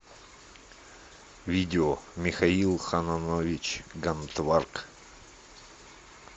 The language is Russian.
видео михаил ханонович гантварг